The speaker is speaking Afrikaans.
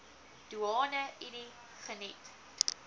doeane unie geniet